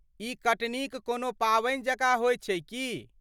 ई कटनीक कोनो पावनि जकाँ होयत छै की?